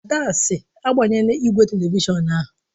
Ada sị, agbanyela igwe telivishọn ahụ!